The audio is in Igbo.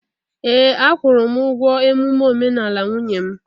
Ee, akwụla m ụgwọ emume omenala nwunye m